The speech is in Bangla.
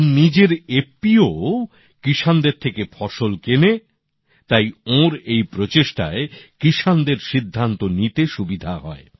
ওঁর নিজের এফপিও ও চাষীভাইদের থেকে ফসল কেনে তাই ওঁর এই প্রচেষ্টায় কৃষকদের সিদ্ধান্ত নিতে সুবিধে হয়